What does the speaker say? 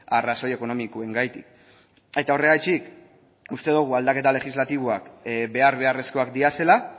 arrazoi ekonomikoengatik eta horregatik uste dogu aldaketa legislatiboak behar beharrezkoak direla